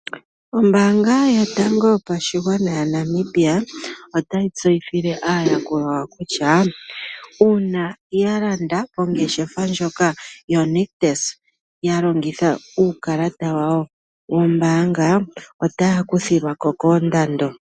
Ombaanga yotango yopashigwana yaNamibia otayi tseyithile aayakulwa yawo kutya uuna ya landa mongeshefa ndjoka yoNictus, ya longitha uukalata wawo wombaanga otaya kuthilwa ko koondando.